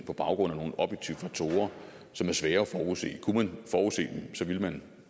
på baggrund af nogle objektive faktorer som er svære at forudse kunne man forudse dem så ville